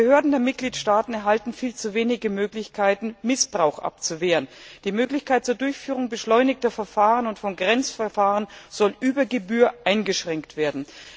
Die Behörden der Mitgliedstaaten erhalten viel zu wenige Möglichkeiten, Missbrauch abzuwehren. Die Möglichkeit zur Durchführung beschleunigter Verfahren und von Grenzverfahren soll über Gebühr eingeschränkt werden.